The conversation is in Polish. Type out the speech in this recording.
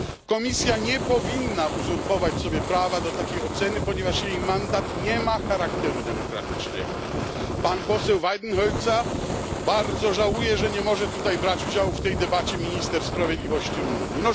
Komisja nie powinna uzurpować sobie prawa do takiej oceny, ponieważ jej mandat nie ma charakteru demokratycznego. Pan poseł Weidenholzer bardzo żałuje, że nie może tutaj brać udziału w tej debacie minister sprawiedliwości Rumuni.